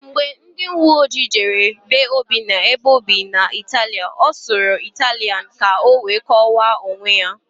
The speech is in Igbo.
Mgbe ndịuweojii jere be Obinna na-ebe óbì na mba Itili, ọ sụrụ Ịtalịan ka ọ wee kọwaa onwe ya.